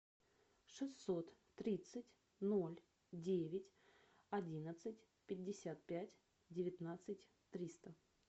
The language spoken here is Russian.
шестьсот тридцать ноль девять одиннадцать пятьдесят пять девятнадцать триста